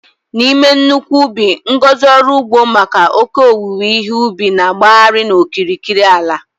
N'ime nnukwu ubi ngọzi ọrụ ugbo maka oke owuwe ihe ubi na-agbagharị n'okirikiri ala.